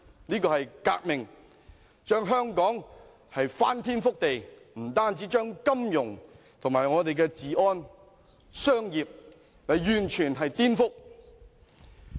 這是一次革命，令香港翻天覆地，除金融外，還將我們的治安、商業完全顛覆。